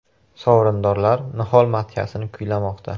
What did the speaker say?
Sovrindorlar “Nihol” madhiyasini kuylamoqda.